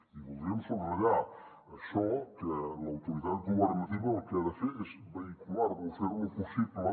i voldríem subratllar això que l’autoritat governativa el que ha de fer és vehicular lo fer lo possible